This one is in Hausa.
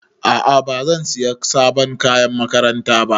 A'a bazan saya sabon kayan makaranta ba